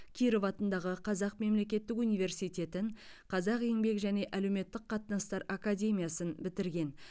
киров атындағы қазақ мемлекеттік университетін қазақ еңбек және әлеуметтік қатынастар академиясын бітірген